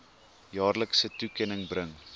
jaarlikse toekenning bring